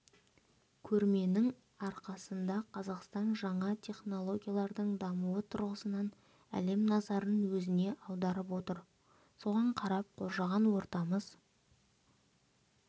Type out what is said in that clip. көрменің арқасында қазақстан жаңа технологиялардың дамуы тұрғысынан әлем назарын өзіне аударып отыр соған қарап қоршаған ортамыз